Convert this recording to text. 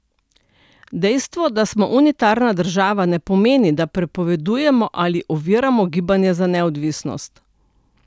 Dejstvo, da smo unitarna država, ne pomeni, da prepovedujemo ali oviramo gibanja za neodvisnost.